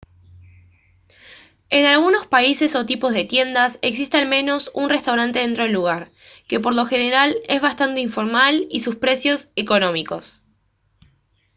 en algunos países o tipos de tiendas existe al menos un restaurante dentro del lugar que por lo general es bastante informal y sus precios económicos